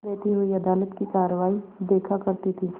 बैठी हुई अदालत की कारवाई देखा करती थी